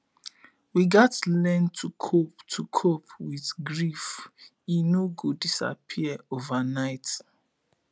we gats learn to cope to cope with grief e no go disappear overnight